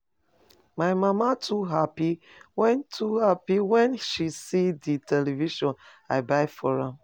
My mama too happy wen too happy wen she see the television I buy for am.